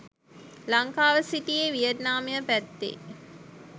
ලංකාව සිටියේ වියට්නාමය පැත්තේ